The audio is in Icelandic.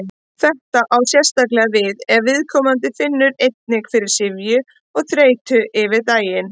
Þetta á sérstaklega við ef viðkomandi finnur einnig fyrir syfju og þreytu yfir daginn.